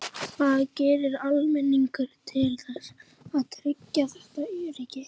Hvað gerir almenningur til þess að tryggja þetta öryggi?